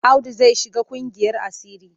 Audu zai shiga ƙungiyar asiri.